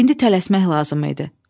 İndi tələsmək lazım idi.